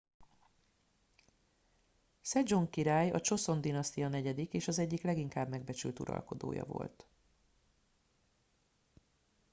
szedzsong király a csoszon dinasztia negyedik és az egyik leginkább megbecsült uralkodója volt